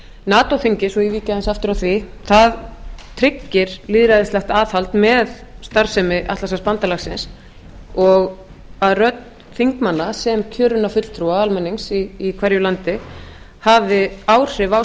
nato þingið svo ég víki aðeins aftur að því það tryggir lýðræðislegt aðhald með starfsemi atlantshafsbandalagsins og að rödd þingmanna sem kjörinna fulltrúa almennings í hverju landi hafði áhrif á